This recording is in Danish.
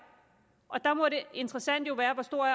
og der må det interessante jo være hvor stor